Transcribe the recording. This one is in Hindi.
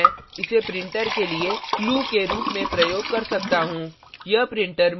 किन्तु मैं इसे printer के लिए clue के रूप में प्रयोग कर सकता हूँ